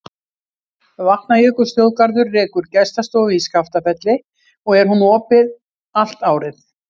Vatnajökulsþjóðgarður rekur gestastofu í Skaftafelli og er hún opin allt árið.